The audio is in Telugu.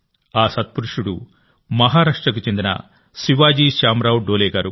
ఆ సత్పురుషులు మహారాష్ట్రకు చెందిన శివాజీ శ్యాంరావ్ డోలే గారు